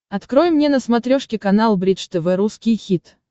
открой мне на смотрешке канал бридж тв русский хит